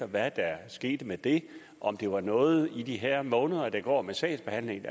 hvad der skete med det om det var noget man i de her måneder der går med sagsbehandling